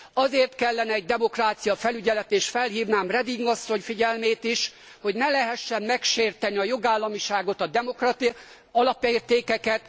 Azért kellene demokráciafelügyelet, és erre felhívnám Reding asszony figyelmét is, hogy ne lehessen megsérteni a jogállamiságot, a demokratikus alapértékeket.